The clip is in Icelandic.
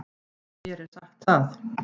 Mér er sagt það.